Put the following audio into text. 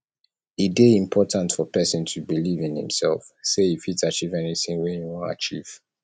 e de important for persin to believe in imself say e fit achieve anything wey im won achieve